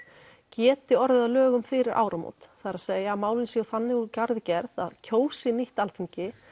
geti orðið að lögum fyrir áramót það er að málin séu þannig úr garði gerð að kjósi nýtt Alþingi